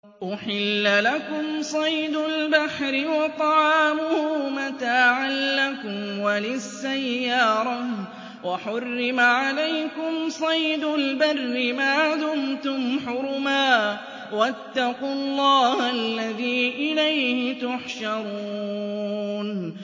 أُحِلَّ لَكُمْ صَيْدُ الْبَحْرِ وَطَعَامُهُ مَتَاعًا لَّكُمْ وَلِلسَّيَّارَةِ ۖ وَحُرِّمَ عَلَيْكُمْ صَيْدُ الْبَرِّ مَا دُمْتُمْ حُرُمًا ۗ وَاتَّقُوا اللَّهَ الَّذِي إِلَيْهِ تُحْشَرُونَ